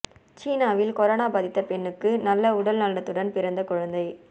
சீனாவில் கொரோனா பாதித்த பெண்ணுக்கு நல்ல உடல் நலத்துடன் பிறந்த குழந்தை